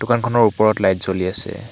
দোকানখনৰ ওপৰত লাইট জ্বলি আছে।